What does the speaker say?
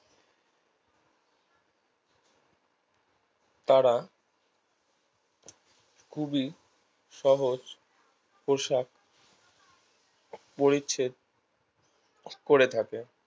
তারা খুবই সহজ পোশাক পরিচ্ছেদ করে থাকে